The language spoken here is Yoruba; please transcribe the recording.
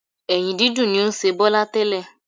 Ẹ̀yìn dídùn ni ó ń ṣe Bọ́lá tẹ́lẹ̀